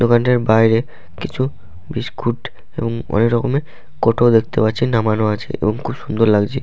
দোকানটির বাইরে কিছু বিস্কুট এবং অনেক রকমের কৌটও দেখতে পাচ্ছেন নামানো আছে এবং খুব সুন্দর লাগছে।